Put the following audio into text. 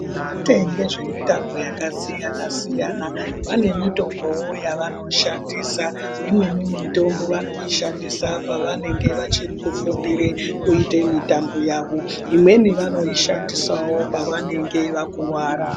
Vehutambo zvakasiyana siyana vanewo mitombo yavanoshandisa imweni mitombo vanoishandisa pavanenge vachiri kufundira kuita mitambo yawo imweni vanoishandisawo pavanenge vakuwara.